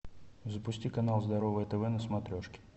запусти канал здоровое тв на смотрешке